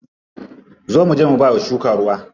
Zo muje mu bawa shuka ruwa.